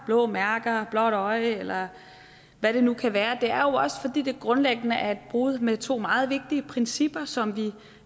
blå mærker blåt øje eller hvad det nu kan være det er også fordi det grundlæggende er et brud med to meget vigtige principper som vi